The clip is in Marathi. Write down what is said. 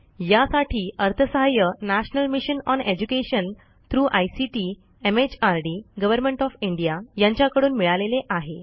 यासाठी अर्थसहाय्य national mission on education through ICT MHRD government of India यांच्याकडून मिळालेले आहे